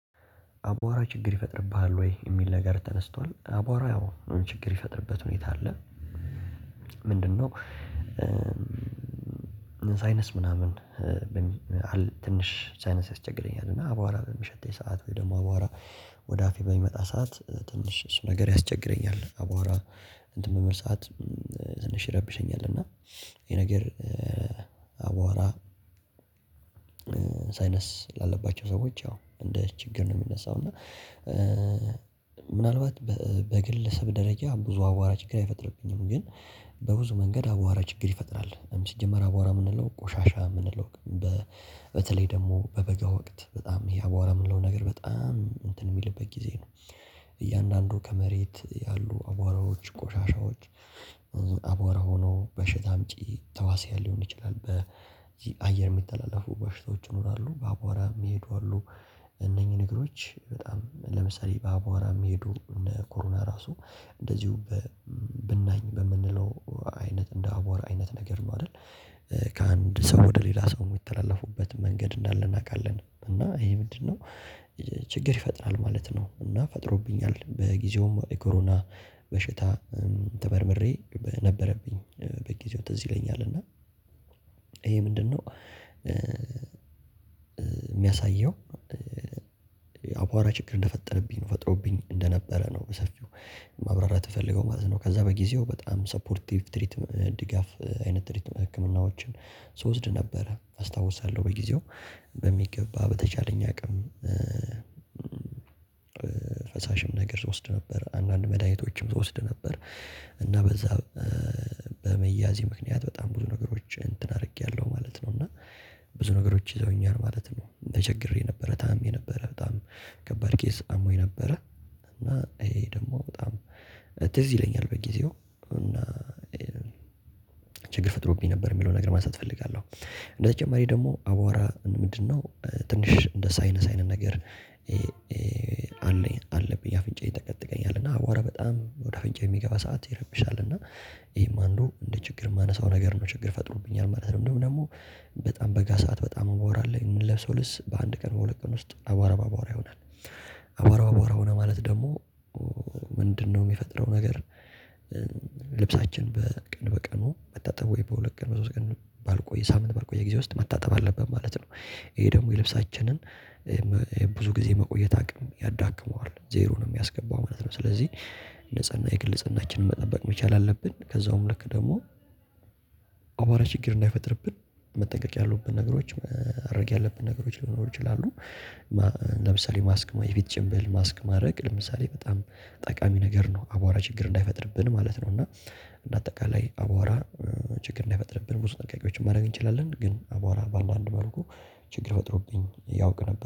አቧራ ችግር ይፈጥርብሃል ወይ? የሚል ነገር ተነስቷል አቧራ ያው ችግር ይፈጥርበት ሁኔታ አለ። ምንድነው? ሳይነስ ምናምን ትንሽ ሳይነስ ያስቸግረኛልና አቧራ በሚሸተኝ ሰዓት ወይ ደሞ አቧራ። ወደ አፌ በሚመጣ ሰዓት ትንሽ እሱ ነገር ያስቸግረኛል። አቧራ እንትን በምል ሰዓት ትንሽ ይረብሸኛል። እና ይሄ ነገር አቧራ። ሳይነስ ላለባቸው ሰዎች ያው እንደ ችግር ነው ሚነሳው እና። ምናልባት በግለሰብ ደረጃ ብዙ አዋራ ችግር አይፈጥርብኝም። ግን በብዙ መንገድ አዋራ ችግር ይፈጥራል ሲጀመር አዋራ ምንለው ቆሻሻ ምንለው። በተለይ ደሞ በበጋ ወቅት በጣም ይሄ አዋራ ምንለው ነገር በጣም እንትን ሚልበት ጊዜ ነው። እያንዳንዱ ከመሬት ያሉ አዋራዎች ቆሻሻዎች አዋራ ሆኖ በሸታ አምጪ ተህዋስያን ሊሆን ይችላል በዚ አየር ሚተላለፉ በሽታዎች ይኖራሉ በአቧራ ሚሄዱ አሉ። እነኚ ነገሮች በጣም ለምሳሌ በአቧራ ሚሄዱ እነ ኮሮና ራሱ። እንደዚው ብናኝ በምንለው አይነት እንደ አቧራ አይነት ነገር ነው አደል። ከአንድ ሰው ወደ ሌላ ሰው ሚተላለፉበት መንገድ እንዳለ እናቃለን። እና ይሄ ምንድነው? ችግር ይፈጥራል ማለት ነው። እና ፈጥሮብኛል በጊዜውም የኮሮና በሽታ ተመርምሬ ነበረብኝ በጊዜው ትዝ ይለኛል። እና ይሄ ምንድነው ሚያሳየው? አቧራ ችግር እንደፈጠረብኝ ነው ፈጥሮብኝ እንደነበረ ነው። በሰፊው ማብራራት ምፈለገው ማለት ነው። ከዛ በጊዜው በጣም ሰፖርቲቭ ትሪት ድጋፍ አይነት ትሪትም ህክምናዎችን ስወስድ ነበረ አስታውሳለው በጊዜው በሚገባ በተቻለኝ አቅም። ፈሳሽም ነገር ስወስድ ነበር አንዳንድ መድኃኒቶችም ስወስድ ነበር። እና በዛ በመያዜ ምክንያት በጣም ብዙ ነገሮች እንትን አርጌያለው ማለት ነው። እና ብዙ ነገሮች ይዘውኛል ማለት ነው። ተቸግሬ ነበረ ታምሜ ነበረ በጣም ከባድ ኬዝ አሞኝ ነበረ። እና ይሄ ደሞ በጣም ትዝ ይለኛል በጊዜው እና ችግር ፈጥሮብኝ ነበር ሚለውን ነገር ማንሳት እፈልጋለው። እንደተጨማሪ ደሞ አዋራ ምንድነው? ትንሽ እንደ ሳይነስ አይነት ነገር። አለኝ አለብኝ አፍንጫዬ ይጠቀጥቀኛል እና አዋራ በጣም ወደ አፍንጫዬ የሚገባ ሰዓት ይረብሻል። እና ይሄም አንዱ እንደ ችግር ማነሳው ነገር ነው ችግር ፈጥሮብኛል ማለት ነው። እንደውም ደሞ በጣም በጋ ሰዓት በጣም አዋራ ለይ ምለብሰው ልብስ በአንድ ቀን በሁለት ቀን ውስጥ አዋራ በአዋራ ይሆናል። አዋራ በአዋራ ሆነ ማለት ደሞ ምንድነው ሚፈጥረው ነገር? ልብሳችን በቀን በቀኑ መታጠብ ወይ በሁለት ቀን በሶስት ቀን ባልቆየ ሳምንት ባልቆየ ጊዜ ውስጥ መታጠብ አለብን ማለት ነው። ይሄ ደሞ የልብሳችንን ብዙ ጊዜ መቆየት አቅም ያዳክመዋል ዜሮ ነው ሚያስገባው ማለት ነው። ስለዚ ንጽህና የግል ንጽህናችንን መጠበቅ መቻል አለብን። ከዛውም ልክ ደሞ አቧራ ችግር እንዳይፈጥርብን መጠንቀቅ ያሉብን ነገሮች ማረግ ያለብን ነገሮች ሊኖሩ ይችላሉ። ለምሳሌ ማስክ ወይ የፊት ጭንብል ማስክ ማረግ ለምሳሌ በጣም ጠቃሚ ነገር ነው። አቧራ ችግር እንዳይፈጥርብን ማለት ነው። እና እንደ አጠቃላይ አዋራ ችግር እንዳይፈጥርብን ብዙ ጥንቃቄዎችን ማረግ እንችላለን። ግን አዋራ ባንዳንድ መልኩ ችግር ፈጥሮብኝ ያውቅ ነበር